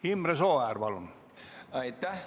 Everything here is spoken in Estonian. Imre Sooäär, palun!